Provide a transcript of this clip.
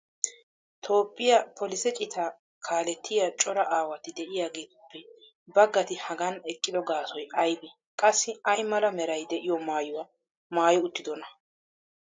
toophphiya polise citaa kaalettiya cora aawatti diyaageetuppe bagatti hagan eqqido gaasoy aybee? qassi ay mala meray de'iyo maayuwa maayi uttidonaa?